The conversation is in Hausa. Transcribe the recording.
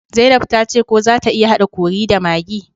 zainab tace ko zata iya hada curry da maggi